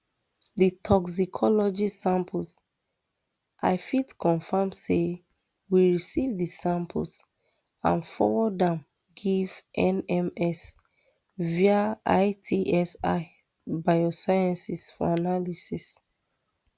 di toxicology samples i fit confam say we receive di samples and forward am give nms via itsi biosciences for analysis